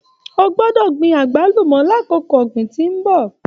O gbọ́dọ̀ gbin agbalumọ l'akoko ọgbin tó n bọ!